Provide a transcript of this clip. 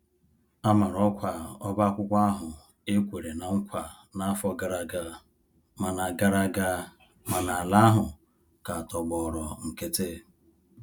A mara ọkwa ọba akwụkwọ ahụ e kwere ná nkwa n'afọ gara aga, mana gara aga, mana ala ahụ ka tọgbọrọ nkiti.